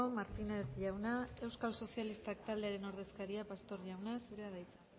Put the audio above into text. martínez jauna euskal sozialistak taldearen ordezkaria pastor jauna zurea da hitza